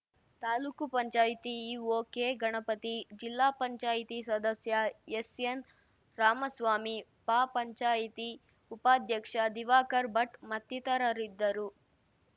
ತಾಲೂಕು ಪಂಚಾಯತಿ EO ಕೆಗಣಪತಿ ಜಿಲ್ಲಾ ಪಂಚಾಯತಿ ಸದಸ್ಯ ಎಸ್‌ಎನ್‌ರಾಮಸ್ವಾಮಿ ಪಪಂಚಾಯತಿ ಉಪಾಧ್ಯಕ್ಷ ದಿವಾಕರ್‌ ಭಟ್‌ ಮತ್ತಿತರರಿದ್ದರು